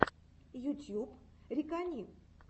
ютьюб рикани